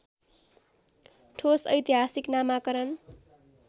ठोस ऐतिहासिक नामाकरण